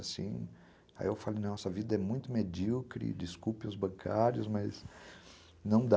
Aí eu falo, nossa, a vida é muito medíocre, desculpe os bancários, mas não dá.